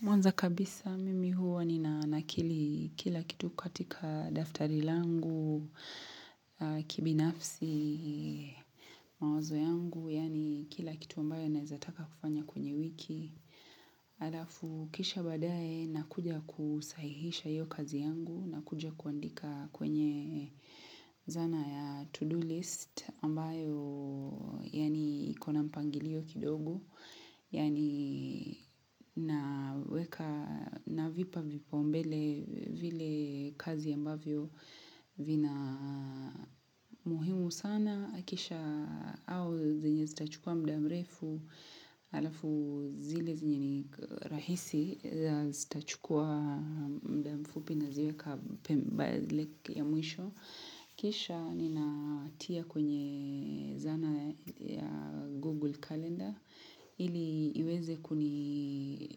Mwanza kabisa mimi huwa nina nakili kila kitu katika daftari langu kibinafsi mawazo yangu, yaani kila kitu ambayo naweza taka kufanya kwenye wiki. Alafu kisha baadaye nakuja kusahihisha hiyo kazi yangu na kuja kuandika kwenye zana ya to-do list ambayo yaani iko na mpangilio kidogo. Yaani naweka navipa vipaumbele vile kazi ambavyo vina muhimu sana. Kisha au zinye zitachukua muda mrefu, halafu zile zenye ni rahisi zitachukua muda mfupi naziweka ya mwisho. Kisha ninatia kwenye zana ya Google Calendar, ili iweze kuniwekea